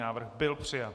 Návrh byl přijat.